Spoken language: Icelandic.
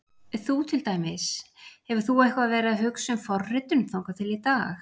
Þú til dæmis, hefur þú eitthvað verið að hugsa um forritun þangað til í dag?